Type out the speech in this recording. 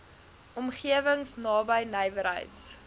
omgewings naby nywerheids